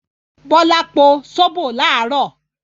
Bọ́lá po sóbò láàárọ̀.